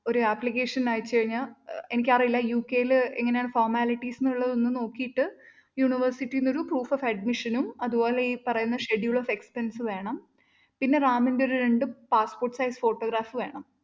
ഒരു application അയച്ചു കഴിഞ്ഞാല്‍ അഹ് എനിക്കറിയില്ല യു കെ യില് എങ്ങനെയാണ് formalities എന്നുള്ളത് നോക്കീട്ട് university ന്ന് ഒരു proof of admission ഉം അതുപോലെ ഈ പറയുന്ന schedule of expense വേണം, പിന്നെ റാമിന്റെ ഒരു രണ്ട് passport size photographs വേണം.